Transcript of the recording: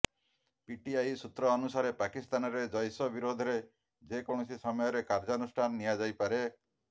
PTI ସୂତ୍ର ଅନୁସାରେ ପାକିସ୍ତାନରେ ଜୈଶ ବିରୋଧରେ ଯେକୌଣସି ସମୟରେ କାର୍ଯ୍ୟାନୁଷ୍ଠାନ ନିଆଯାଇପାରେ